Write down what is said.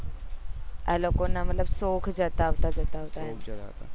આલોકો ના મતલબ શોખ જતા આવતા જતા આવતા એમ